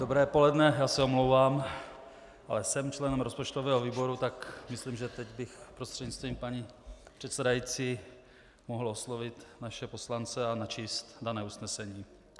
Dobré poledne, já se omlouvám, ale jsem členem rozpočtového výboru, tak myslím, že teď bych prostřednictvím paní předsedající mohl oslovit naše poslance a načíst dané usnesení.